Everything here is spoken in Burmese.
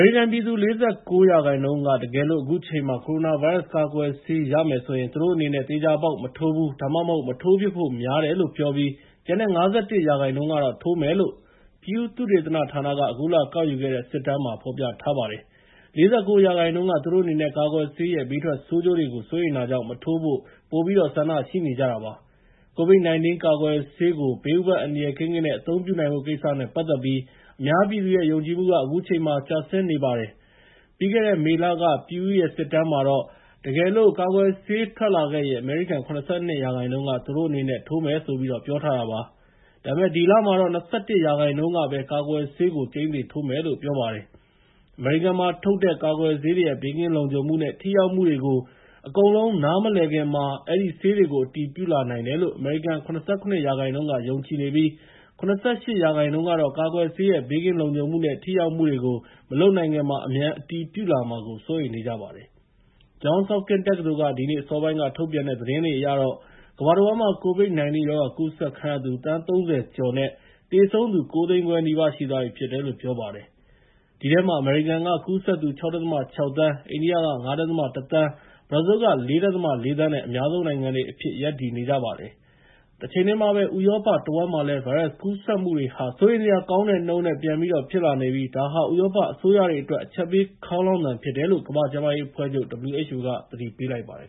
ရိကန်ပြည်သူ ၄၉ ရာခိုင်နှုန်းက တကယ်လို့ အခုအချိန်မှာ ကိုရိုနာဗိုင်းရပ်စ်ကာကွယ်ဆေးရမယ်ဆိုရင် သူတို့အနေနဲ့ သေချာပေါက် မထိုးဘူး ဒါမှမဟုတ် မထိုးဖြစ်ဖို့များတယ်လို့ပြောပြီး ကျန်တဲ့ ၅၁ ရာခိုင်နှုန်းကတော့ ထိုးမယ်လို့ Pew သုတေသနဌာနက အခုလကောက်ယူတဲ့ စစ်တမ်းမှာ ဖော်ထြားပါတယ်။ ၄၉ ရာခိုင်နှုန်းက သူတို့အနေနဲ့ ကာကွယ်ဆေးရဲ့ ဘေးထွက်ဆိုးကျိုးတွေကို စိုးရိမ်တာကြောင့် မထိုးဖို့ ပိုပြီးတော့ ဆန္ဒရှိနေကြတာပါ။ COVID 19 ကာကွယ်ဆေးကို ဘေးဥပါဒ်အန္တရာယ်ကင်းကင်း အသုံးပြုနိုင်ဖို့ကိစ္စနဲ့ ပတ်သက်ပြီး အများပြည်သူရဲ့ ယုံကြည်မှုက အခုချိန်မှာ ကျဆင်းနေတာပါ။ ပြီးခဲ့တဲ့ မေလက Pew ရဲ့ စစ်တမ်းမှာတော့ တကယ်လို့ ကာကွယ်ဆေးထွက်လာခဲ့ရင် အမေရိကန် ၇၂ ရာခိုင်နှုန်းက သူတို့အနေနဲ့ ထိုးမယ်ဆိုပြီးပြောထားတာပါ။ ဒါပေမဲ့ ဒီလမှာတော့ ၂၁ ရာခိုင်နှုန်းကပဲ ကာကွယ်ဆေးကို ကျိန်းသေထိုးမယ်လို့ ပြောပါတယ်။ အမေရိကန်မှာထုတ်တဲ့ ကာကွယ်ဆေးတွေရဲ့ ဘေးကင်းလုံခြုံမှုနဲ့ ထိရောက်မှုတွေကို အကုန်လုံး နားမလည်ခင်မှာ အဲဒီဆေးတွေကို အတည်ပြုလာနိုင်တယ်လို့ အမေရိကန် ၇၇ ရာခိုင်နှုန်းက ယုံကြည်နေပြီး ၇၈ ရာခိုင်နှုန်းကတော့ ကာကွယ်ဆေးရဲ့ ဘေးကင်းလုံခြုံမှုနဲ့ ထိရောက်မှုတွေကို မလုပ်နိုင်ခင်မှာ အမြန်အတည်ပြုလာမှာကို စိုးရိမ်နေကြပါတယ်။ Johns Hopkins တက္ကသိုလ်က ဒီနေ့ အစောပိုင်း ထုတ်ပြန်တဲ့ သတင်းအရတော့ ကမ္ဘာတဝန်းမှာ COVID-19 ရောဂါကူးစက်ခံရသူ သန်း ၃၀ ကျော်နဲ့ သေဆုံးသူ ၉၅၀,၀၀၀ နီးပါးရှိသွားပြီဖြစ်တယ်လို့ ပြောပါတယ်။ အဲဒီထဲမှာ အမေရိကန်က ကူးစက်သူ ၆.၆ သန်း၊ အိန္ဒိယက ၅.၁ သန်း၊ ဘရာဇီးလ်က ၄.၄ သန်းနဲ့ အများဆုံးနိုင်ငံတွေအဖြစ် ရပ်တည်နေပါတယ်။ တချိန်တည်းမှာပဲ ဥရောပတဝန်းမှာလည်း ဗိုင်းရပ်စ်ကူးစက်မှုတွေဟာ စိုးရိမ်စရာကောင်းတဲ့နှုန်းနဲ့ ပြန်ပြီးတော့ဖြစ်လာနေပြီး ဒါဟာ ဥရောပအစိုးရတွေအတွက် အချက်ပေးခေါင်းလောင်သံ ဖြစ်တယ်လို့ ကမ္ဘာကျန်းမာရေးအဖွဲ့ချုပ် WHO က သတိပေးလိုက်ပါတယ်